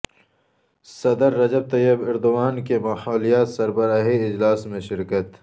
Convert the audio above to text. صدر Recep Tayyip Erdogan کی ماحولیاتی سربراہی اجلاس میں شرکت